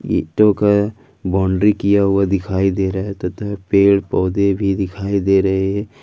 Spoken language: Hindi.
ईटों का बाउंड्री किया हुआ दिखाई दे रहा है तथा पेड़ पौधे भी दिखाई दे रहे हैं।